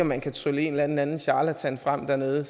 man kan trylle en eller anden anden charlatan frem dernede